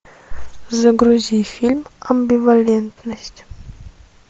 загрузи фильм амбивалентность